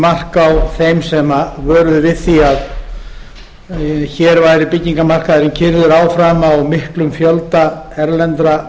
mark á þeim sem vöruðu við því að hér væri byggingarmarkaðurinn keyrður áfram á miklum fjölda erlendra